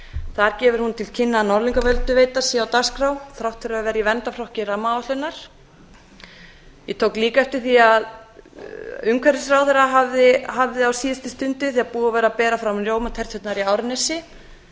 þar gefur hún til kynna að norðlingaölduveita sé á dagskrá þrátt fyrir að vera í verndarflokki rammaáætlunar ég tók líka eftir því að umhverfisráðherra hafði á síðustu stundu þegar búið var að bera fram rjómaterturnar í árnesi